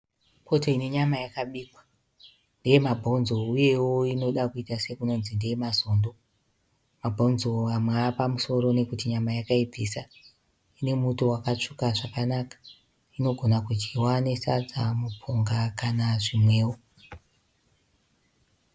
Poto ine nyama yakabikwa ,ndeye mabhonzo uyewo inoda kuita sekunonzi ndeye mazondo. Mabhonzo amwe apamusoro nekuti nyama yakaibvisa. Ine muto wakatsvuka zvakanaka. Inogona kudyiwa nesadza mupunga kana zvimwewo.